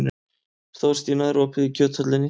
Þórstína, er opið í Kjöthöllinni?